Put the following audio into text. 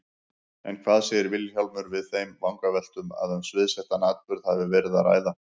En hvað segir Vilhjálmur við þeim vangaveltum að um sviðsettan atburð hafi verið að ræða?